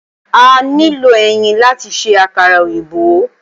A nílò ẹyin láti ṣe àkàrà òyìnbó